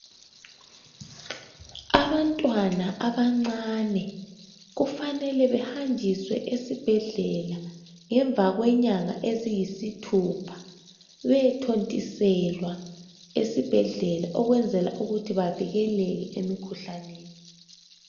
Abantwana abancane kufanele behajiswe esibhedlela ngemva kwenyanga eziyisithupha bethontiselwa esibhedlela, okwenzela ukuthi bavikeleke umikhuhlaneni.